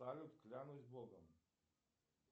салют клянусь богом